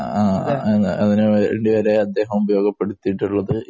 ആ, അതിനു വേണ്ടി വരെ അദ്ദേഹം ഉപയോഗപ്പെടുത്തിയിട്ടുള്ളത്